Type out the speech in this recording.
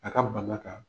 A ka bana kan